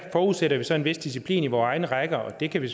forudsætter vi så en vis disciplin i vore egne rækker og det kan vi